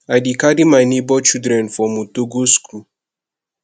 i dey carry my nebor children for motor go skool